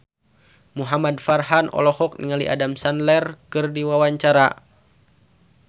Muhamad Farhan olohok ningali Adam Sandler keur diwawancara